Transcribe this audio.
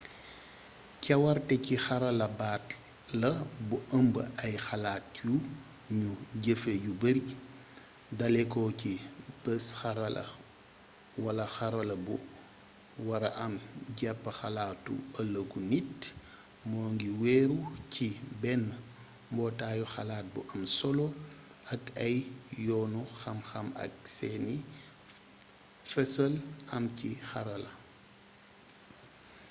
cawarté ci xarala baat la bu ëmb ay xalaat yu nuy jëfee yu bari daléko ci bees-xarala wala xarala bu wara am japp xalaatu ëlëgu nit moo ngi weeru ci benn mbootaayu xalaat bu am solo ak ay yoonu xamxam ak seeni fesal am ci xarala